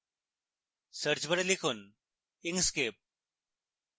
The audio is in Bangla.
search bar লিখুন inkscape